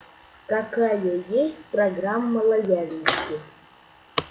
какая есть программа лояльности